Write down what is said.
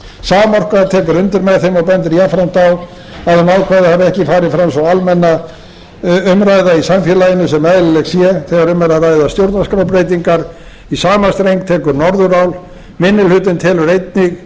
tekur undir með þeim og bendir jafnframt á að um það ákvæðið hafi ekki farið fram sú almenna umræða í samfélaginu sem eðlileg sé þegar um er að ræða stjórnarskrárbreytingar í sama streng tekur norðurál minni hlutinn telur